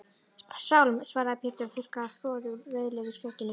Sálm, svaraði Pétur og þurrkaði froðu úr rauðleitu skegginu.